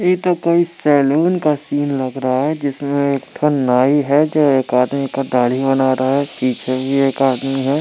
तो कोई सैलून का सीन लग रहा है जिसमे एक ठो नाइ है जो एक आदमी का दाड़ी बना रहा है एक पीछे भी एक आदमी है।